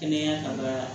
Kɛnɛya kan ka